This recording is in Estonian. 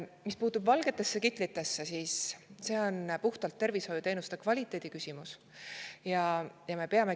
Mis puutub valgetesse kitlitesse, siis see on puhtalt tervishoiuteenuse kvaliteedi küsimus.